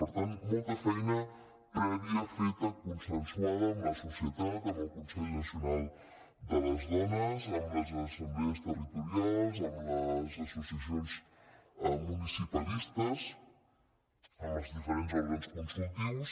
per tant molta feina prèvia feta consensuada amb la societat amb el consell nacional de les dones amb les assemblees territorials amb les associacions mu·nicipalistes amb els diferents òrgans consultius